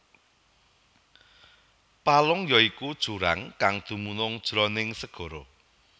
Palung ya iku jurang kang dumunung jroning segara